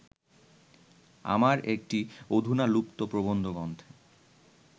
আমার একটি অধুনালুপ্ত প্রবন্ধগ্রন্থে